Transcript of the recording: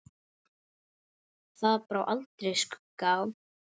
Þar brá aldrei skugga á.